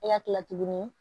E ka kila tuguni